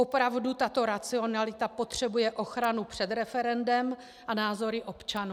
Opravdu tato racionalita potřebuje ochranu před referendem a názory občanů?